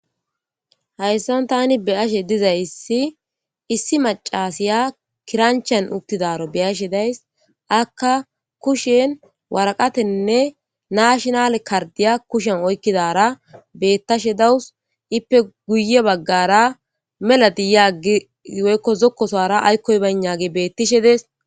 Hayssan thaani be7ashedizayssi issi maccaasiya kiranchchiyan uththidaaro be7ashe days; akka kushen woraqathenne natinale karddiya kushiyan oykkidaara beeththashe dawus; ippe guyye baggaara mela de7iya woykko zokkosuwaara aykkoy baynnaagee beeththishe dees.